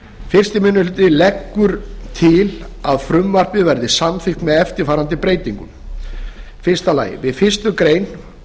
fyrsti minni hluti leggur til að frumvarpið verði samþykkt með eftirfarandi breytingum fyrstu við fyrstu grein